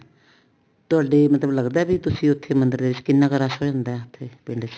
ਤੁਹਾਡੇ ਮਤਲਬ ਲੱਗਦਾ ਵੀ ਤੁਸੀਂ ਉੱਥੇ ਮੰਦਰ ਦੇ ਵਿੱਚ ਕਿੰਨਾ ਕ ਰਸ਼ ਹੋ ਜਾਂਦਾ ਪਿੰਡ ਚ